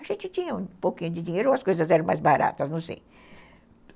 A gente tinha um pouquinho de dinheiro ou as coisas eram mais baratas, não sei.